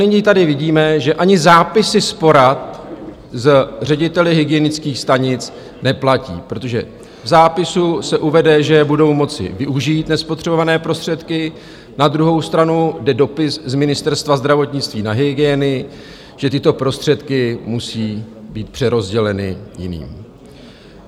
Nyní tady vidíme, že ani zápisy z porad s řediteli hygienických stanic neplatí, protože v zápisu se uvede, že budou moci využít nespotřebované prostředky, na druhou stranu jde dopis z Ministerstva zdravotnictví na hygieny, že tyto prostředky musí být přerozděleny jiným.